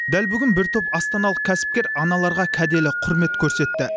дәл бүгін бір топ астаналық кәсіпкер аналарға кәделі құрмет көрсетті